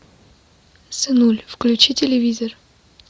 сынуль включи телевизор